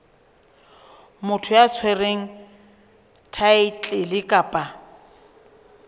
motho ya tshwereng thaetlele kapa